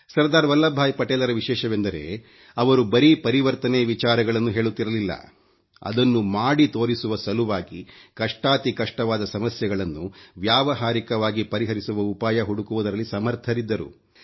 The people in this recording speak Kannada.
ಸರ್ದಾರ್ ವಲ್ಲಬ್ ಭಾಯಿ ಪಟೇಲರ ವಿಶೇಷವೆಂದರೆ ಅವರು ಬರೀ ಪರಿವರ್ತನೆ ವಿಚಾರಗಳನ್ನು ಹೇಳುತ್ತಿರಲಿಲ್ಲ ಅದನ್ನು ಮಾಡಿ ತೋರಿಸುವ ಸಲುವಾಗಿ ಕಷ್ಟಾತಿಕಷ್ಟವಾದ ಸಮಸ್ಯೆಗಳನ್ನು ವ್ಯಾವಹಾರಿಕವಾಗಿ ಪರಿಹರಿಸುವ ಉಪಾಯ ಹುಡುಕುವುದರಲ್ಲಿ ಸಮರ್ಥರಿದ್ದರು